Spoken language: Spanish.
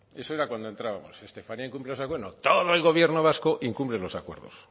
eso era cuando entrábamos estefanía incumple los acuerdos bueno todo el gobierno vasco incumple los acuerdos